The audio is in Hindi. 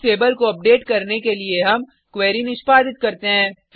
बुक्स टेबल को अपडेट करने के लिए हम क्वेरी निष्पादित करते हैं